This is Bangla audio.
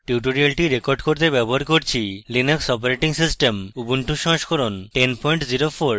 tutorial record করতে ব্যবহার করছি: linux operating system ubuntu সংস্করণ 1004